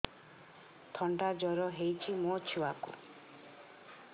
ଥଣ୍ଡା ଜର ହେଇଚି ମୋ ଛୁଆକୁ